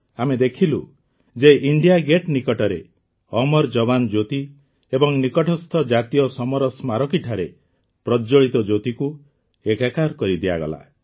ଆମେ ଦେଖିଲୁ ଯେ ଇଣ୍ଡିଆ ଗେଟ୍ ନିକଟରେ ଅମର ଯବାନ୍ ଜ୍ୟୋତି ଏବଂ ନିକଟସ୍ଥ ଜାତୀୟ ସମର ସ୍ମାରକୀଠାରେ ପ୍ରଜ୍ଜ୍ୱଳିତ ଜ୍ୟୋତିକୁ ଏକାକାର କରିଦିଆଗଲା